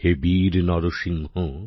হে বীর নরসিংহ